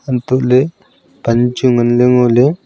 antoh ley pan chu ngan ley ngo ley tai ley.